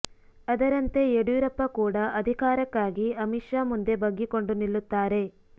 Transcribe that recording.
ಅದರಂತೆ ಯಡಿಯೂರಪ್ಪ ಕೂಡ ಅಧಿ ಕಾರಕ್ಕಾಗಿ ಅಮಿತ ಶಾ ಮುಂದೆ ಬಗ್ಗಿಕೊಂಡು ನಿಲ್ಲುತ್ತಾರೆ